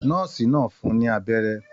Nọ́ọ́sì náà fún ní abẹ́rẹ́.